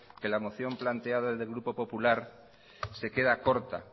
que la moción planteada desde el grupo popular se queda corta